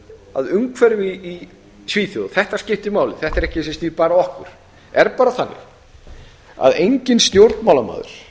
að umhverfi í svíþjóð þetta skiptir máli þetta er ekki sem snýr bara að okkur er bara þannig að enginn stjórnmálamaður